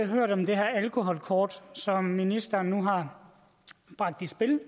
hørt om det her alkoholkort som ministeren nu har bragt i spil